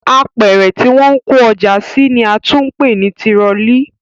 Apẹ̀rẹ̀ tí wọ́n ń kó ọjà sí ni a tún ń pè ní tirọlí